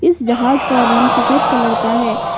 इस जहाज का रंग सफेद कलर का है।